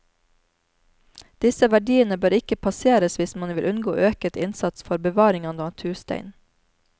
Disse verdiene bør ikke passeres hvis man vil unngå øket innsats for bevaring av natursteinen.